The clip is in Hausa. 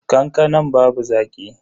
Kankanan babu zaki.